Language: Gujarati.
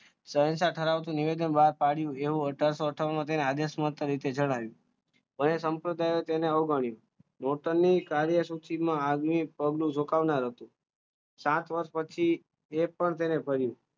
શહેનશાહ ઠરાવ ધરાવતું નિવેદન બહાર પાડ્યું એવું અથારસો અથાવનમાં તેને આદેશ મત તરીકે જણાવ્યું હવે સંપ્રદાય તેને અવગણ્યો ન્યુટન ની કાર્ય સુધીમાં આદમી જોખમ ન હતી સાત વર્ષ પછી એક પણ તેને